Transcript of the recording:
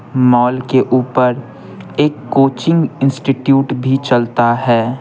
Mall के ऊपर एक कोचिंग इंस्टिट्यूट भी चलता है।